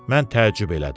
Mən təəccüb elədim.